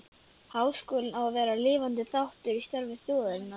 Háskólinn á að vera lifandi þáttur í starfi þjóðarinnar.